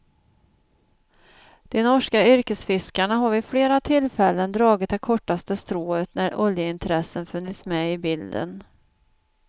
De norska yrkesfiskarna har vid flera tillfällen dragit det kortaste strået när oljeintressen funnits med i bilden.